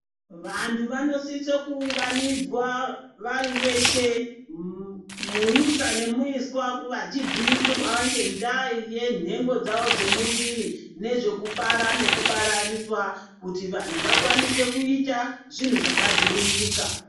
Vantu vanosisa ku unganidzwa vari veshe muisa ne muiswa vachi bhirwa nge ndaa ye nhengo dzavo dze muviri ne zveku bara neku baraniswa kuti vanhu vakwanise kuita zvinhu zvaka dziviririka.